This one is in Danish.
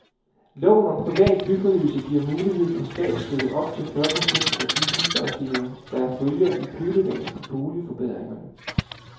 Loven om privat byfornyelse giver mulighed for statsstøtte på op til fyrre procent af de huslejestigninger, der følger i kølvandet på boligforbedringerne.